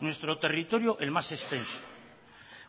nuestro territorio el más extenso